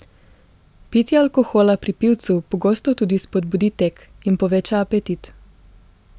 Pitje alkohola pri pivcu pogosto tudi spodbudi tek in poveča apetit.